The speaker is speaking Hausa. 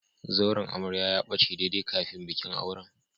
Zauren amarya ya bace daidai kafin bikin auren.